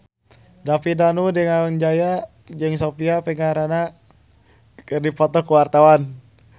David Danu Danangjaya jeung Sofia Vergara keur dipoto ku wartawan